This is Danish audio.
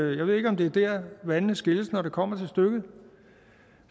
jeg ved ikke om det er der vandene skilles når det kommer til stykket